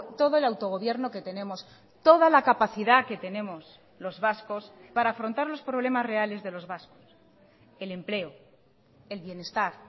todo el autogobierno que tenemos toda la capacidad que tenemos los vascos para afrontar los problemas reales de los vascos el empleo el bienestar